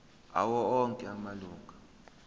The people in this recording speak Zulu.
awo onke amalunga